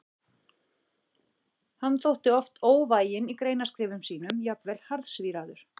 Hann þótti oft óvæginn í greinaskrifum sínum, jafnvel harðsvíraður.